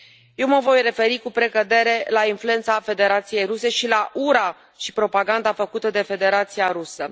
Eu mă voi referi cu precădere la influența Federației Ruse și la ura și propaganda făcute de Federația Rusă.